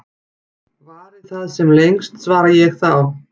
Vari það sem lengst, svara ég þá.